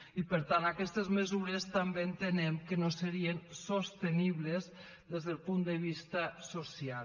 i per tant aquestes mesures també entenem que no serien sostenibles des del punt de vista social